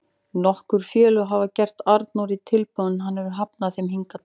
Nokkur félög hafa gert Arnóri tilboð en hann hefur hafnað þeim hingað til.